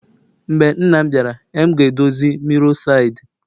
Mgbe nna m biara,e m ga-edozi mirror side